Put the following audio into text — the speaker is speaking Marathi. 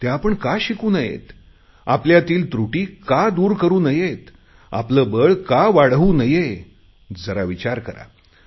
त्या आपण का शिकू नयेत आपल्यातील त्रुटी का दूर करु नयेत आपले बळ का वाढवू नये जरा विचार करा